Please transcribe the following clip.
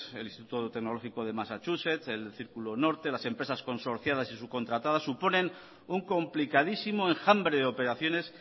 el instituto tecnológico de massachusetts el círculo norte las empresas consorciadas y subcontratadas suponen un complicadísimo enjambre de operaciones